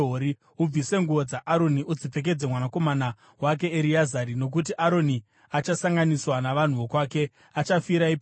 Ubvise nguo dzaAroni udzipfekedze mwanakomana wake Ereazari nokuti Aroni achasanganiswa navanhu vokwake; achafira ipapo.”